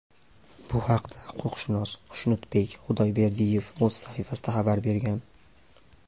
Bu haqda huquqshunos Xushnudbek Xudayberdiyev o‘z saytida xabar bergan .